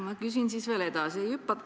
Ma küsin siis veel edasi.